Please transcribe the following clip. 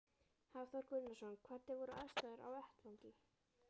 Hafþór Gunnarsson: Hvernig voru aðstæður á vettvangi?